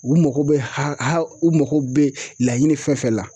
U mako bɛ ha ha u mako bɛ laɲini fɛn fɛn la